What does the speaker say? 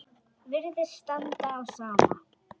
Virðist standa á sama.